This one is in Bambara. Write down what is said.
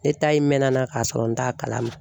Ne ta in mɛna n na k'a sɔrɔ n t'a kalama.